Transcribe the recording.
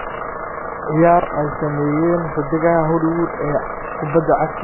ciyaar ay sameeyeen xiddigaha Hollywood ee kubada cagta England